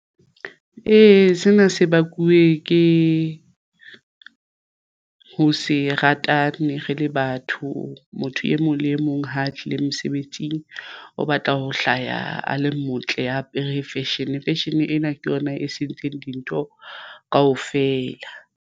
Eya, sena se bakuwe ke ho se ratane re le batho motho e mong le e mong ha tlile mosebetsing o batla ho hlaya a le motle a apere ya fashion. Fashion ena ke yona e sentseng dintho kaofela.